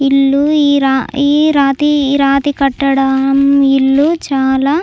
ఇల్లు ఈ రా ఈ రాతి రాతి కట్టడం ఇల్లు చాలా --